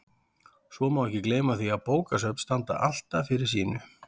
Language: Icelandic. Svo má ekki gleyma því að bókasöfn standa alltaf fyrir sínu.